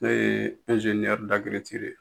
Ne ye ye